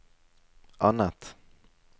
annet